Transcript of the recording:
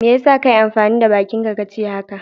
Me ya sa ka yi amfani da bakinka ka ce haka?